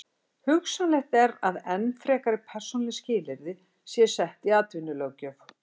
Hugsanlegt er að enn frekari persónuleg skilyrði séu sett í atvinnulöggjöf.